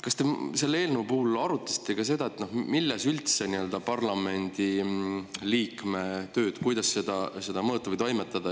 Kas te selle eelnõu puhul arutasite ka seda, kuidas üldse parlamendiliikme tööd mõõta?